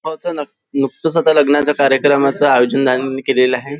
नुकतच लग्नाच्या कार्यक्रमाचे आयोजन त्यांनी केलेलं आहे.